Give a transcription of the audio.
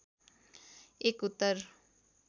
एक उत्तर